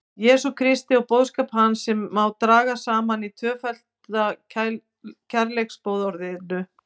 Jesú Kristi og boðskap hans sem má draga saman í tvöfalda kærleiksboðorðinu.